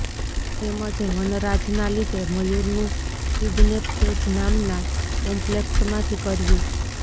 એમજ વનરાજ નાં લીધે મયુર નું કિડનેપ એજ નામનાં કોમ્પ્લેક્સમાંથી કર્યું